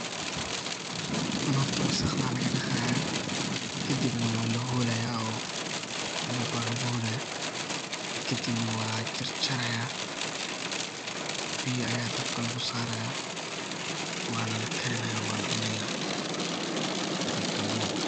Tan horta wasaqda lagadaqaya kadibna wala holaya melba luguholaya kadibna wala jarjaraya biya aya dabka lugu saaraya wana lakariyana wana la cunaya haday kalun tahay.